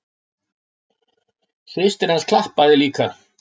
Systir hans klappaði líka.